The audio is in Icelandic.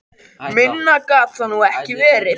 Minna gat það nú ekki verið.